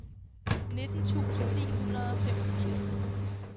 nitten tusind ni hundrede og femogfirs